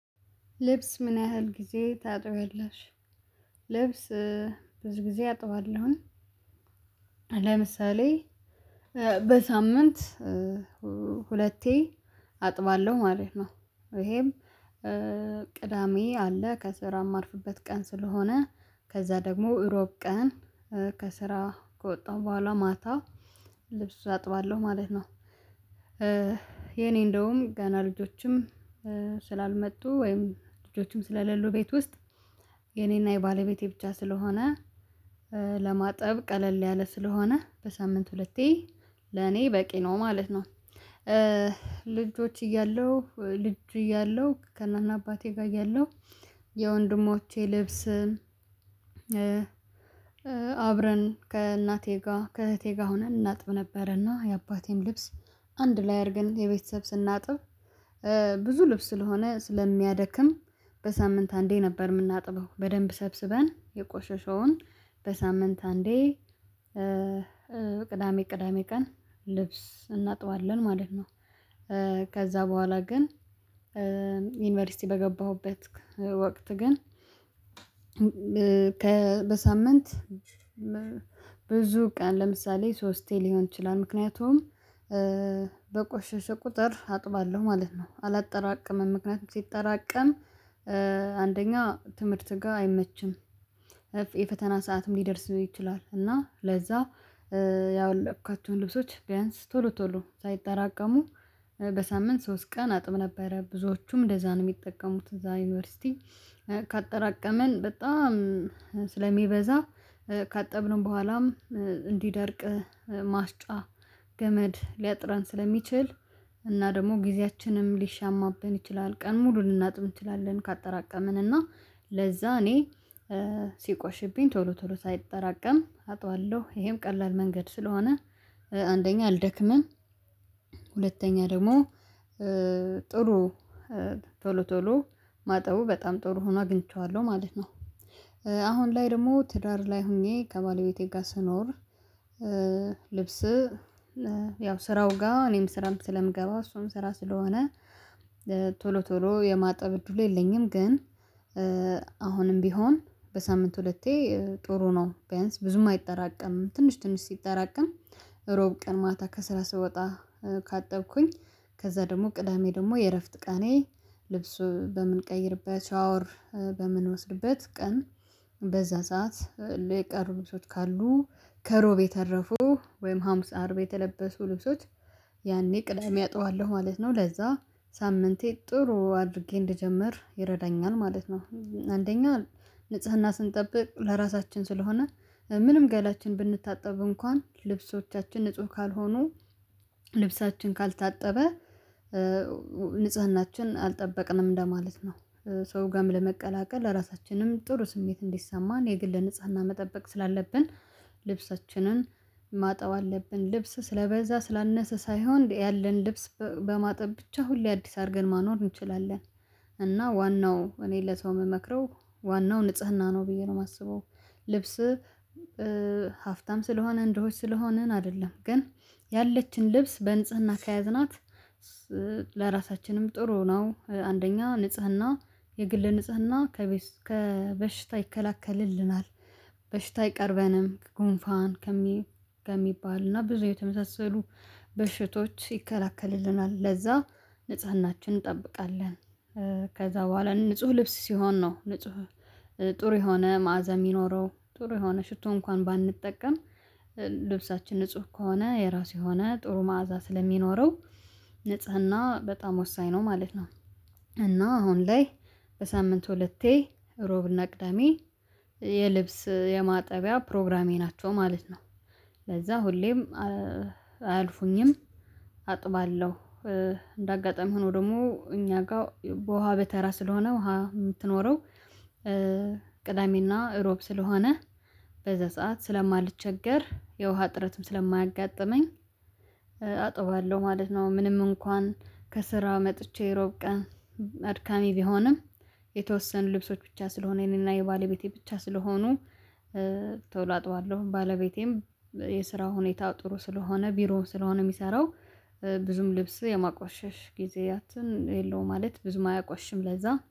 ልብስ ምን ያህል ጊዜ ታጥብያለሽ? ልብስ ብዙ ጊዜ አጥባለሁኝ። ለምሳሌ በሳምንት ሁለቴ አጥባለሁ ማለት ነው። ይሄም ቅዳሜ አለ ከስራ ማርፍበት ቀን ስለሆነ ከዛ ደግሞ እሮብ ቀን ከስራ ከወጣሁ በኋላ ማታ ልብሱ አጥባለሁ ማለት ነው። የኔ እንደውም ገና ልጆችም ስላልመጡ ወይም ልጆችም ስለሌሉ ቤት ውስጥ የኔና የባለቤቴ ብቻ ስለሆነ ለማጠብ ቀለል ያለ ስለሆነ በሳምንት ሁለቴ ለኔ በቂ ነው ማለት ነው። ልጆች እያለሁ ልጅ እያለሁ ከነአና አባቴ ጋር እያለሁ የወንድሞቼ ልብስ። አብረን ከእናቴ ጋር ከእህቴ ጋር ሆነን እናጥብ ነበረና የአባቴን ልብስ አንድ ላይ አድርገን የቤተሰብ ስናጥብ። ብዙ ልብስ ስለሆነ ስለሚያደክም በሳምንት አንዴ ነበር የምናጥበው በደንብ ሰብስበን የቆሸሸውን በሳምንት አንዴ። ቅዳሜ ቅዳሜ ቀን ልብስ እናጥባለን ማለት ነው። ከዛ በኋላ ግን ዩኒቨርሲቲ በገባሁበት ወቅት ግን ከበሳምንት ብዙ ቀን ለምሳሌ ሶስቴ ሊሆን ይችላል ምክንያቱም በቆሸሸ ቁጥር አጥባለሁ ማለት ነው አላጠራቅምም ምክንያቱም ሲጠራቀም አንደኛ ትምህርት ጋር አይመችም። የፈተና ሰዓትም ሊደርስ ይችላል እና ለዛ ያወለቅኩዋቸውን ልብሶች ቢያንስ ቶሎ ቶሎ ሳይጠራቀሙ። በሳምንት ሶስት ቀን አጥም ነበረ ብዙዎቹም እንደዛ ነው የሚጠቀሙት እዛ ዩኒቨርሲቲ። ካጠራቀመን በጣም ስለሚበዛ ካጠብን በኋላም እንዲደርቅ ማስጫ ገመድ ሊያጥራን ስለሚችል እና ደግሞ ጊዜያችንም ሊሻማብን ይችላል ቀን ሙሉ ልናጥም እንችላለን። ካጠራቀምን እና ለዛ እኔ ሲቆሽሽብኝ ቶሎ ቶሎ ሳይጠራቀም አጥባለሁ ይሄም ቀላል መንገድ ስለሆነ አንደኛ አልደክምም። ሁለተኛ ደግሞ ጥሩ ቶሎ ቶሎ ማጠቡ በጣም ጥሩ ሆኖ አግኝቼዋለሁ ማለት ነው። አሁን ላይ ደግሞ ትዳር ላይ ሆኜ ከባለቤቴ ጋር ስኖር ልብስ ያው ስራው ጋር እኔም ስራም ስለምገባ እሷም ስራ ስለሆነ ቶሎ ቶሎ የማጠብ እድሉ የለኝም። ግን አሁንም ቢሆን በሳምንት ሁለቴ ጥሩ ነው። ቢያንስ ብዙም አይጠራቀምም ትንሽ ትንሽ ሲጠራቀም እሮብ ቀን ማታ ከስራ ስወጣ ካጠብኩኝ ከዛ ደግሞ ቅዳሜ ደግሞ የእረፍት ቀኔ ልብሱ በምንቀይርበት ሻወር በምንወስድበት ቀን በዛ ሰዓት ለቀሩ ልብሶች ካሉ ከሮብ የተረፉ ወይም ሃምሳ አርብ የተለበሱ ልብሶች ያኔ ቅዳሜ አጥባዋለሁ ማለት ነው። ለዛ ሳምንቴ ጥሩ አድርጌ እንደጀመር ይረዳኛል ማለት ነው። አንደኛ ንጽህና ስንጠብቅ ለራሳችን ስለሆነ ምንም ገላችን ብንታጠብ እንኳን ልብሶቻችን ንጹህ ካልሆኑ ልብሳችን ካልታጠበ ንጽህናችን አልጠበቅንም እንደማለት ነው። ሰው ጋርም ለመቀላቀል ለራሳችንም ጥሩ ስሜት እንዲሰማን የግል ንጽህና መጠበቅ ስላለብን ልብሳችንን ማጠብ አለብን። ልብስ ስለበዛ ስላነሰ ሳይሆን ያለን ልብስ በማጠብ ብቻ ሁሌ አዲስ አድርገን ማኖር እንችላለን። እና ዋናው እኔ ለሰው የምመክረው ዋናው ንጽህና ነው ብዬ ነው የማስበው። ልብስህ ሀፍታም ስለሆንን ድሆች ስለሆንን አይደለም ግን ያለችን ልብስ በንጽህና ከያዝናት ለራሳችንም ጥሩ ነው። አንደኛ ንጽህና የግል ንጽህና ከበሽታ ይከላከልልናል። በሽታ አይቀርበንም ጉንፋን ከሚባል እና ብዙ የተመሳሰሉ በሽቶች ይከለክልልናል ለዛ ንጽህናችን እንጠብቃለን። ከዛ በኋላ ንጹህ ልብስ ሲሆን ነው ንጹህ ጥሩ የሆነ መዓዛ የሚኖረው ጥሩ የሆነ ሽቶ እንኳን ባንጠቀም ልብሳችን ንጹህ ከሆነ የራሱ የሆነ ጥሩ መዓዛ ስለሚኖረው ንጽህና በጣም ወሳኝ ነው ማለት ነው። እና አሁን ላይ በሳምንት ሁለቴ ሮብ ነቅደሜ የልብስ የማጠቢያ ፕሮግራሜ ናቸው ማለት ነው። ለዛ ሁሌም አያልፉኝም አጥባለሁ። እንዳጋጠሚ ሆኖ ደግሞ እኛ ጋር በውሃ በተራ ስለሆነ ውሃ የምትኖረው ቅዳሜና እሮብ ስለሆነ በዛ ሰዓት ስለማልቸገር የውሃ ጥረትም ስለማያጋጥመኝ አጥባለሁ ማለት ነው። ምንም እንኳን ከስራ መጥቼ እሮብ ቀን አድካሚ ቢሆንም የተወሰኑ ልብሶች ብቻ ስለሆነ የእኔና የባለቤቴ ብቻ ስለሆኑ ቶሎ አጥባለሁ። ባለቤቴም የስራው ሁኔታ ጥሩ ስለሆነ ቢሮ ስለሆነ የሚሰራው ብዙም ልብስ የማቋሸሽ ጊዜያትን የለውም ማለት ብዙም አያቆሽሽም ለዛ